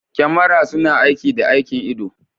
Kyamara suna aiki da aikin ido.